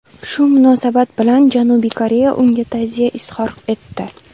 Shu munosabat bilan Janubiy Koreya unga ta’ziya izhor etdi.